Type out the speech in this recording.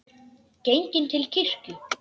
Genginn til kirkju.